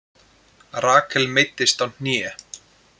Rakel meiddist á hné